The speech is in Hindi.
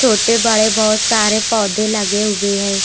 छोटे बड़े बहुत सारे पौधे लगे हुए हैं।